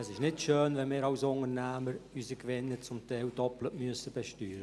Es ist nicht schön, wenn wir Unternehmer unsere Gewinne zum Teil doppelt versteuern müssen.